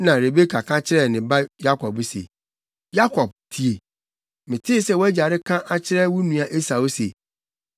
Rebeka ka kyerɛɛ ne ba Yakob se, “Yakob tie! Metee sɛ wʼagya reka akyerɛ wo nua Esau se,